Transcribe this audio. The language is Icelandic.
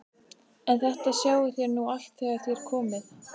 En þetta sjáið þér nú allt þegar þér komið.